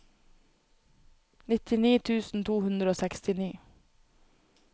nittini tusen to hundre og sekstini